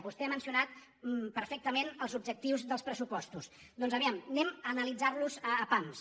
vostè ha mencionat perfec·tament els objectius dels pressupostos doncs a veure analitzem·los a pams